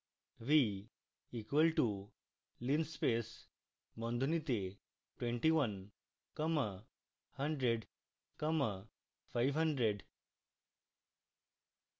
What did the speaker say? v equals to linspace বন্ধনীতে 21 comma 100 comma 500